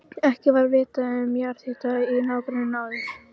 Ekki var vitað um jarðhita í nágrenninu áður.